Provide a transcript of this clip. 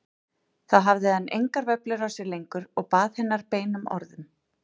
Þá hafði hann engar vöflur á sér lengur og bað hennar beinum orðum.